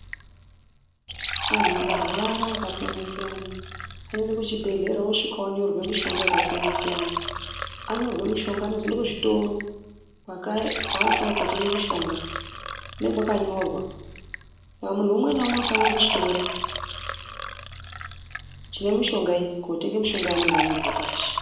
Anhu akarwara akasiyana siyana, anonda kuchibhedhlera, osvika onyorerwe mishonga yakasiyana siyana. Anyorwe mushonga anozoyenda kuzvitoro, kwanofana kotenge mushonga, kune kwakanyorwa. Saka munhu umwe na umwe unofane kuchitoro, chinemishonga iyi, kotenga mishonga yanenge anyorerwa pashi.